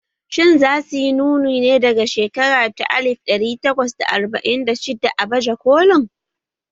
Shin za su yi nuni ne daga shekara ta alif ɗari takwas da arba'in da shidda a baje kolin?